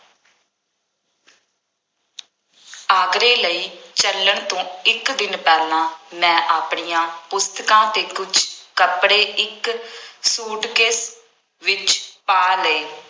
ਆਗਰੇ ਲਈ ਚੱਲਣ ਤੋਂ ਇੱਕ ਦਿਨ ਪਹਿਲਾਂ ਮੈਂ ਆਪਣੀਆਂ ਪੁਸਤਕਾਂ ਅਤੇ ਕੁੱਝ ਕੱਪੜੇ ਇੱਕ ਸੂਟਕੇਸ ਵਿੱਚ ਪਾ ਲਏ।